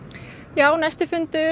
já næsti fundur